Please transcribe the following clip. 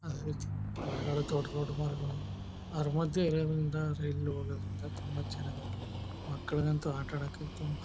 ಮರಗಳು ದೊಡ್ಡ್ ದೊಡ್ಡ್ ಮರಗಳು ಆದ್ರೂ ಮದ್ಯ ತುಂಬಾ ಚನ್ನಗದ ಮಕ್ಕಳಾಗ್ ಅಂತೂ ಆಟ ಅಡಕ ಅಂತು ತುಂಬ--